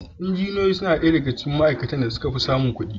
Injiniyoyi suna ɗaya daga cikin ma'aikatan da suka fi samun kuɗi.